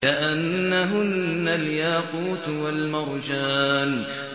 كَأَنَّهُنَّ الْيَاقُوتُ وَالْمَرْجَانُ